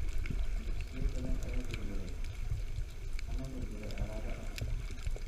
Dugsiyo badan ayaa burburay ama burburay colaadda awgeed.